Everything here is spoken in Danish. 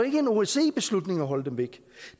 ikke en osce beslutning at holde dem væk